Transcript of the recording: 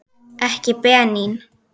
Ekki Benín.